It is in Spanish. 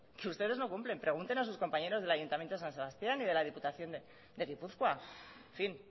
que ustedes no cumplen pregunten a sus compañeros del ayuntamiento de san sebastián y de la diputación de gipuzkoa en fin